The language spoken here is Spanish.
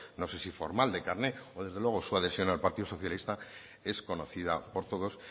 no sé si formal de carne o desde luego su adhesión al partido socialista es conocida por todos